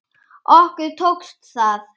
Okkur tókst það.